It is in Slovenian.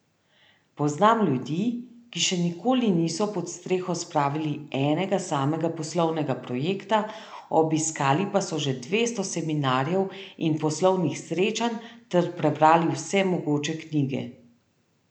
Poznam ljudi, ki še nikoli niso pod streho spravili enega samega poslovnega projekta, obiskali pa so že dvesto seminarjev in poslovnih srečanj ter prebrali vse mogoče knjige.